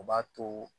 O b'a to